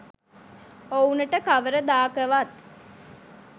ඔවුනට කවර දාකවත්